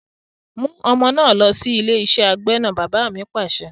"mú ọmọ náà lọ sí ilé iṣẹ́ agbẹ́nà! Bàbá mi Pàṣẹ.